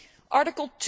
Article